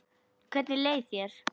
Hvernig leið þér?